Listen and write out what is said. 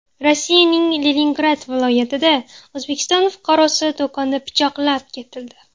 Rossiyaning Leningrad viloyatida O‘zbekiston fuqarosi do‘konda pichoqlab ketildi .